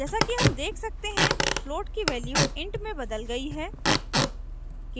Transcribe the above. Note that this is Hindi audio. जैसा कि हम देख सकते हैं float की value int में बदल गयी है